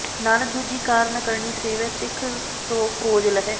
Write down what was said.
ਨਾਨਕ ਦੂਜੀ ਕਾਰ ਨ ਕਰਣੀ ਸੇਵੈ ਸਿਖੁ ਸੁ ਖੋਜਿ ਲਹੈ